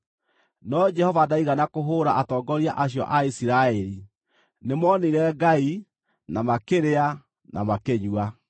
No Jehova ndaigana kũhũũra atongoria acio a Isiraeli; nĩmoonire Ngai, na makĩrĩa na makĩnyua.